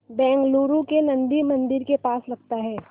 बेंगलूरू के नन्दी मंदिर के पास लगता है